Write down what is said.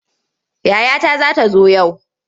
Yayata za ta zo yau.